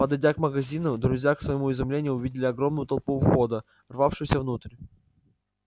подойдя к магазину друзья к своему изумлению увидели огромную толпу у входа рвавшуюся внутрь